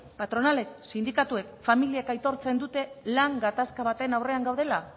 patronalek sindikatuek familiek aitortzen dute lan gatazka baten aurrean gaudela